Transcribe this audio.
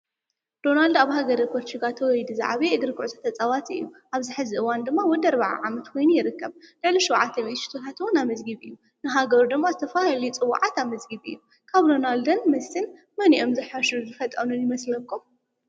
ዶናልድ ኣብ ሃገረ ፖርቹጋል ተወሊዱ ዝዓበየ እግሪ ኲዕሶ ተፃዋቲ እዩ፡፡ ኣብዝ ሕዚ እዋን ድማ ወዲ ኣርብዓ ዓመት ኾይኑ ይርከብ፡፡ ልዕሊ ሽውዓት ሚኢቲ ሽቶ ዉን ኣመዝጊቡ እዩ፡፡ ንሃገሩ ድማ ዝተፈላለዩ ፅውዓት ኣመዝጊቡ እዩ፡፡ ፅውዓት ኣመዝጊቢ እዩ፡፡ ካብ ሮናልዶን መሲን መኒኦም ዝሓሹ ዝፈጠኑን ይመስለኩም?